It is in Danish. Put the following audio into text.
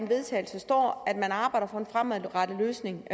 vedtagelse står at man arbejder for en fremadrettet løsning